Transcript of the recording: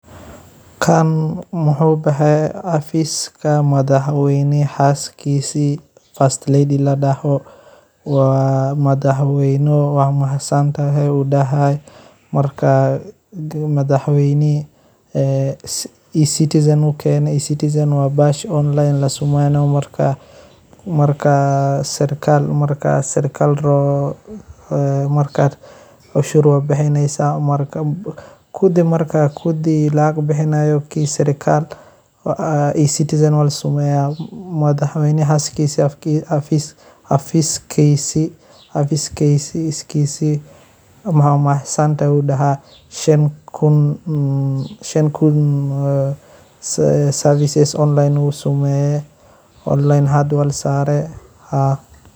Kaan muxu baxay xafika madaxwayna xaskisi fast lady ladaho, wa madaxwaynaho wad mahadsantahay udahay marka madaxwaynihi ecitizen ayu kaani citizen wa baxasha online la samayo marka marka sarkal ladaho marka xushod waar bixinsah marka kudi marka lacag bixinayo sirkal ecizen la samaynaya madaxwayna xafiskisi kisi, wad mahadsantahay ayu daha shan kun service online u samayi onlin e hada wa rasani.